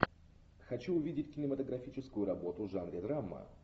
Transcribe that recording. хочу увидеть кинематографическую работу в жанре драма